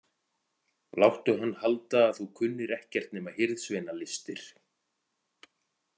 Láttu hann halda að þú kunnir ekkert nema hirðsveinalistir.